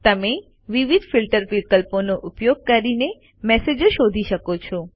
તમને વિવિધ ફિલ્ટર વિકલ્પોનો ઉપયોગ કરીને મેસેજો શોધી શકો છો